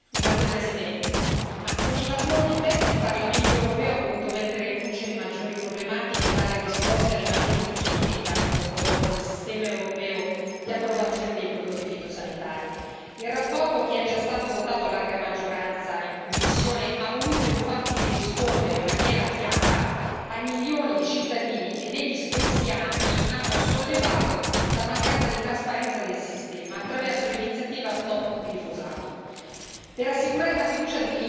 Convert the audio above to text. Signor Presidente, onorevoli colleghi, con il lavoro della commissione PEST, il Parlamento europeo ha voluto mettere in luce le maggiori problematiche e dare risposte alle maggiori critiche che hanno coinvolto il sistema europeo di approvazione dei prodotti fitosanitari. La relazione, che è già stata votata a larga maggioranza in commissione, ha voluto infatti rispondere in maniera chiara ai milioni di cittadini che negli scorsi anni hanno sollevato la mancanza di trasparenza del sistema, attraverso l'iniziativa Stop Glifosato.